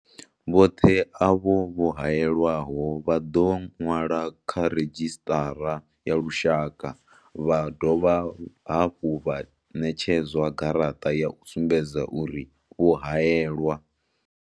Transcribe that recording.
Vhoṱhe avho vho haelwaho vha ḓo ṅwalwa kha redzhisṱara ya lushaka vha dovha hafhu vha ṋetshedzwa garaṱa ya u sumbedza uri vho haelwa.